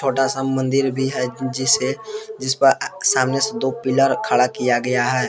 छोटा सा मंदिर भी है जिसे जिसपे सामने से दो पिलर खड़ा किया गया है।